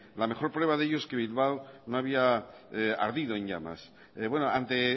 la mejor pruebade ello es que bilbao no había ardido en llamas ante